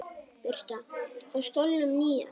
Birta: Á stólnum nýja?